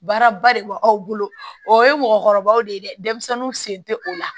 Baara ba de b'aw bolo o ye mɔgɔkɔrɔbaw de ye dɛ denmisɛnninw sen te o la